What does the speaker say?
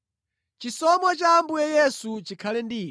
Chisomo cha Ambuye Yesu chikhale ndi inu.